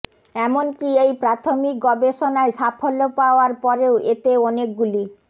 এমনকি এই প্রাথমিক গবেষণায় সাফল্য পাওয়ার পরেও এতে অনেকগুলি